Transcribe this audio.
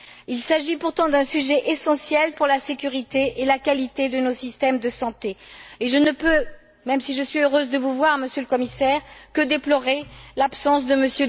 Il s'agit pourtant d'un sujet essentiel pour la sécurité et la qualité de nos systèmes de santé, et je ne peux même si je suis heureuse de vous voir, Monsieur le Commissaire que déplorer l'absence de M.